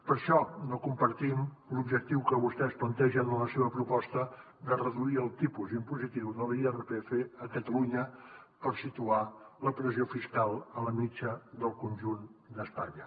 per això no compartim l’objectiu que vostès plantegen en la seva proposta de reduir el tipus impositiu de l’irpf a catalunya per situar la pressió fiscal a la mitjana del conjunt d’espanya